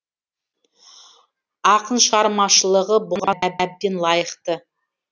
ақын шығармашылығы бұған әбден лайықты